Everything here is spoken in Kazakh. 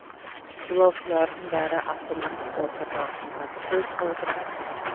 жолаушылардың бәрі астана қызылорда бағытындағы пойызға отырғызылған